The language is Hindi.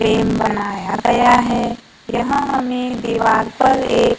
फ्रेम बनाया गया है यहां में दीवार पर एक--